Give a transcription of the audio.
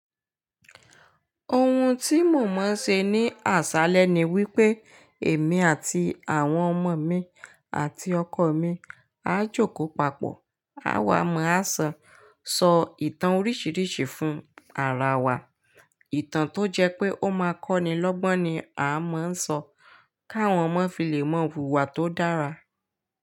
Ohun tí mò máa ń ṣe ní àṣálẹ́ ni wípé èmi àti àwọn ọmọ mi àti ọkọ mi á jókòó papọ̀, á wàmọ́, á sọ ìtàn oríṣiríṣi fún ara wa. Ìtàn tó jẹ́ pé ó máa kọ́ni lọ́gbọ́n ni a máa ń sọ káwọn ọmọ fi lè ma wùwà tó dára.